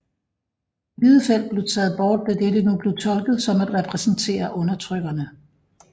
Det hvide felt blev taget bort da dette nu blev tolket som at repræsentere undertrykkerne